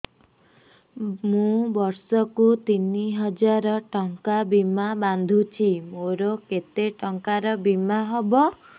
ମୁ ବର୍ଷ କୁ ତିନି ହଜାର ଟଙ୍କା ବୀମା ବାନ୍ଧୁଛି ମୋର କେତେ ଟଙ୍କାର ବୀମା ହବ